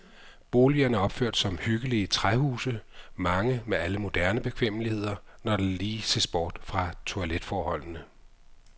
Boligerne er opført som hyggelige træhuse, mange med alle moderne bekvemmeligheder, når der lige ses bort fra toiletforholdene.